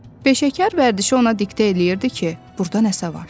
Peşəkar vərdişi ona diktə eləyirdi ki, burda nəsə var.